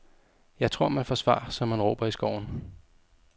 Jeg tror, man får svar som man råber i skoven.